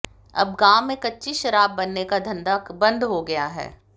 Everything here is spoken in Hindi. अब गाँव में कच्ची शराब बनने का धंधा बंद हो गया है